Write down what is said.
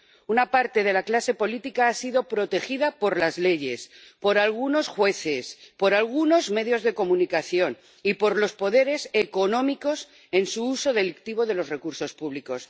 Una parte de la clase política ha sido protegida por las leyes, por algunos jueces, por algunos medios de comunicación y por los poderes económicos en su uso delictivo de los recursos públicos.